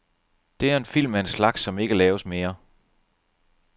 Det er en film af en slags, som ikke laves mere.